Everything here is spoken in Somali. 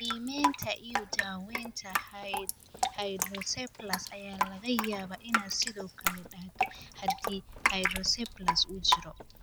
Qiimaynta iyo daawaynta hydrocephalus ayaa laga yaabaa inay sidoo kale dhacdo haddii hydrocephalus uu jiro.